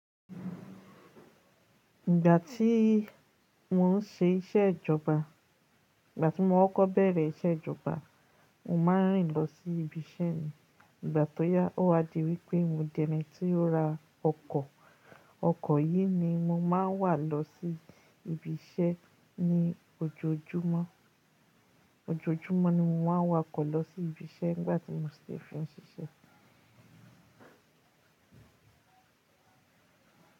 Ìgbà tí mo n ṣe iṣẹ́ ìjọba, ìgbà tí mo kọ́ kó bẹ̀rẹ̀ iṣẹ́ ìjọba, mo máa n rìn lọ sí ibi iṣẹ́ mi. Ìgbà tó yá ó wá di wípé mo di ẹni tí ó ra ọkọ̀. Ọkọ̀ yìí ni mo máa n wà lọ sí ibi iṣẹ́ ní ojoojúmọ́. Ojoojúmọ́ ni mo máa n wa ọkọ̀ lọ sí ibi iṣẹ́ ni gbà tí mo si fín ṣiṣẹ́.